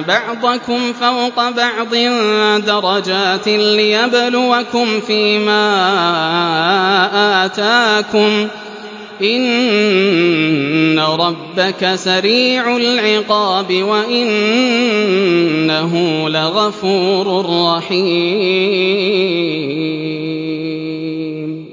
بَعْضَكُمْ فَوْقَ بَعْضٍ دَرَجَاتٍ لِّيَبْلُوَكُمْ فِي مَا آتَاكُمْ ۗ إِنَّ رَبَّكَ سَرِيعُ الْعِقَابِ وَإِنَّهُ لَغَفُورٌ رَّحِيمٌ